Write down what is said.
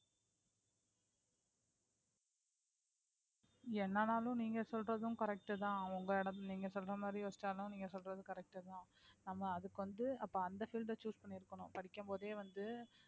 என்ன ஆனாலும் நீங்க சொல்றதும் correct தான் உங்க இடம் நீங்க சொல்ற மாறி யோசிச்சாலும் நீங்க சொல்றது correct தான் நம்ம அதுக்கு வந்து அப்ப அந்த field அ choose பண்ணி இருக்கணும் படிக்கும் போதே வந்து